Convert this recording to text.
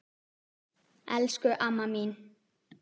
Elsku amma mín!